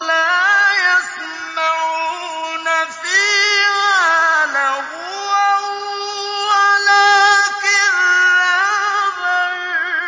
لَّا يَسْمَعُونَ فِيهَا لَغْوًا وَلَا كِذَّابًا